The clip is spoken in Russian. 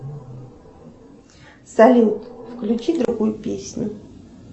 салют включи другую песню